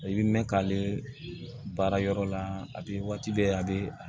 I bɛ mɛn k'ale baara yɔrɔ la a b'i waati bɛɛ a bɛ